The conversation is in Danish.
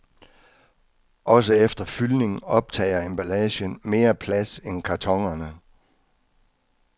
Også efter fyldning optager emballagen mere plads end kartonerne.